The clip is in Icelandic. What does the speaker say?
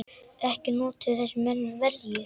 Ekki notuðu þessir menn verjur.